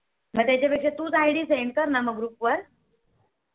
मग त्याच्या पेक्षा तूच IDSend कर मग Group वर